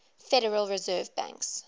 federal reserve banks